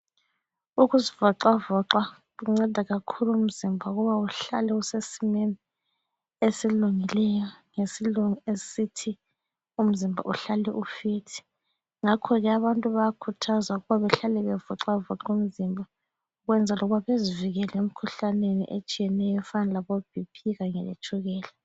Ukuzivoxavoxa kunceda kakhulu umzimba ukuba uhlale usesimeni esilungileyo ngesilungu esithi umzimba uhlale u-"fit". Ngakho-ke abantu bayakhuthazwa ukuthi bahlale bevoxavoxa umzimba ukwenzela ukuthi bazivikele emikhuhlaneni etshiyeneyo efana labo BP kanye letshukela.